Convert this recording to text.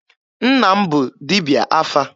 Nna m bụ dibịa afa.